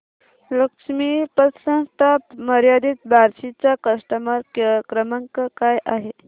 लक्ष्मी पतसंस्था मर्यादित बार्शी चा कस्टमर केअर क्रमांक काय आहे